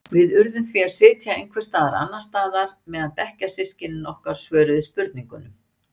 Við urðum því að sitja einhvers staðar annars staðar meðan bekkjarsystkini okkar svöruðu spurningunum.